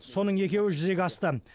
соның екеуі жүзеге асты